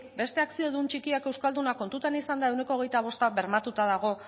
beste akziodun txikiak euskaldunak kontutan izanda ehuneko hogeita bosta bermatuta dago